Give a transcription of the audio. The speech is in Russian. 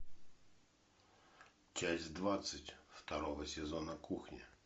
часть двадцать второго сезона кухня